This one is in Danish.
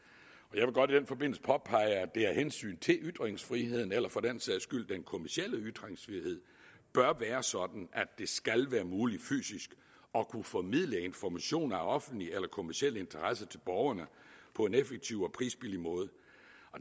jeg vil godt i den forbindelse påpege at det af hensyn til ytringsfriheden eller for den sags skyld den kommercielle ytringsfrihed bør være sådan at det skal være muligt fysisk at kunne formidle information af offentlig eller kommerciel interesse til borgerne på en effektiv og prisbillig måde